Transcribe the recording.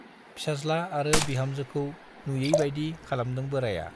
फिसाज्ला आरो बिहामजोखौ नुयैबाइदि खालामदों बोराइया।